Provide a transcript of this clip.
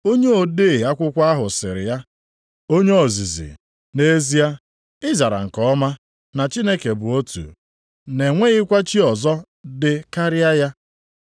Onye ode akwụkwọ ahụ sịrị ya, “Onye ozizi, nʼezie, ị zara nke ọma na Chineke bụ otu, na enweghịkwa chi ọzọ dị karịa ya.